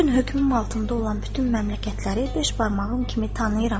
Bu gün hökmüm altında olan bütün məmləkətləri beş barmağım kimi tanıyıram.